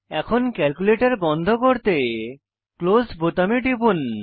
এখন ক্যালকুলেটর বন্ধ করতে ক্লোস বোতামে টিপুন